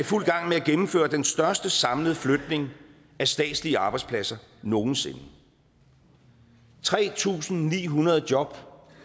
fuld gang med at gennemføre den største samlede flytning af statslige arbejdspladser nogensinde tre tusind ni hundrede job